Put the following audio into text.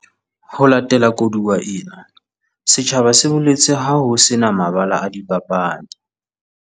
Ho latela koduwa ena, setjhaba se boletse ha ho se na mabala a dipapadi.